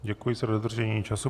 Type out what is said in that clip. Děkuji za dodržení času.